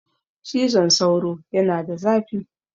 Cizon sauro yana da zafi.